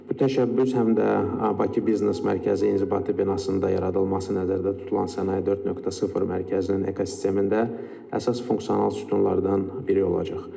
Bu təşəbbüs həm də Bakı Biznes Mərkəzi inzibati binasında yaradılması nəzərdə tutulan Sənaye 4.0 Mərkəzinin ekosistemində əsas funksional sütunlardan biri olacaq.